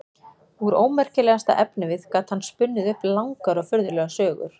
Úr ómerkilegasta efnivið gat hann spunnið upp langar og furðulegar sögur.